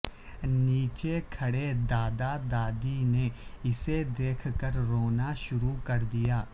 نیچے کھڑے دادا دادی نے اسے دیکھ کر رونا شروع کر دیا